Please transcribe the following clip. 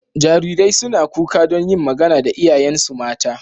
Jarirai suna kuka don yin magana da iyayensu mata.